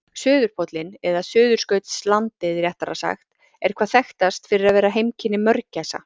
Suðurpóllinn, eða Suðurskautslandið réttara sagt, er hvað þekktast fyrir að vera heimkynni mörgæsa.